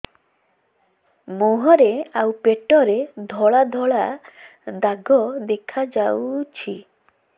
ମୁହଁରେ ଆଉ ପେଟରେ ଧଳା ଧଳା ଦାଗ ଦେଖାଯାଉଛି